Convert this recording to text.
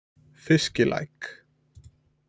Fiskilæk